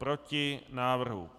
Proti návrhu.